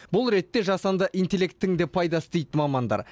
бұл ретте жасанды интеллекттің де пайдасы тиді дейді мамандар